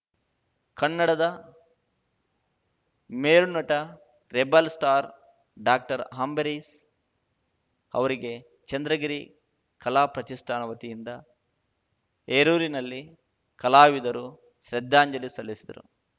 ಕನ್ನಡದ ಮೇರುನಟ rebel star doctor Ambareesh ಅವರಿಗೆ ಚಂದ್ರಗಿರಿ ಕಲಾ ಪ್ರತಿಷ್ಠಾನ ವತಿಯಿಂದ ಹೇರೂರಿನಲ್ಲಿ ಕಲಾವಿದರು ಶ್ರದ್ಧಾಂಜಲಿ ಸಲ್ಲಿಸಿದರು